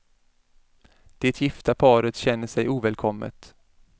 Det gifta paret känner sig ovälkommet.